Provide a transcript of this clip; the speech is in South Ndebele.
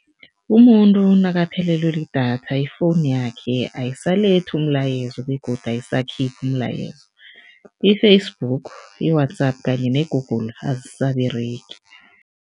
Umuntu nakaphelelwe lidatha, ifowunu yakhe ayisalethi umlayezo begodu ayisakhiphi umlayezo. I-Facebook, i-WhatsApp kanye ne-Google azisaberegi.